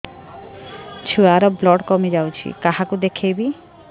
ଛୁଆ ର ବ୍ଲଡ଼ କମି ଯାଉଛି କାହାକୁ ଦେଖେଇବି